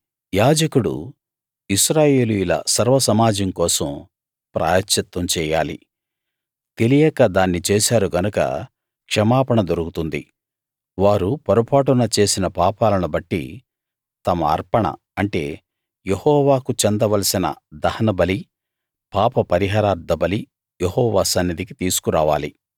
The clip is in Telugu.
యాజకుడు ఇశ్రాయేలీయుల సర్వసమాజం కోసం ప్రాయశ్చిత్తం చెయ్యాలి తెలియక దాన్ని చేశారు గనక క్షమాపణ దొరుకుతుంది వారు పొరపాటున చేసిన పాపాలను బట్టి తమ అర్పణ అంటే యెహోవాకు చెందవలసిన దహనబలి పాపపరిహారార్థబలి యెహోవా సన్నిధికి తీసుకు రావాలి